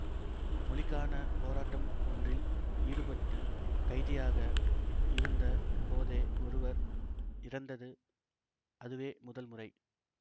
மொழிக்கான போராட்டம் ஒன்றில் ஈடுபட்டு கைதியாக இருந்த போதே ஒருவர் இறந்தது அதுவே முதல் முறை